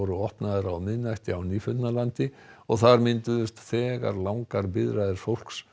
opnuðu á miðnætti á Nýfundnalandi og þar mynduðust þegar langar biðraðir fólks